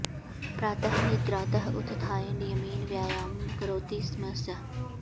प्रातः निद्रातः उत्थाय नियमेन व्यायामं करोति स्म सः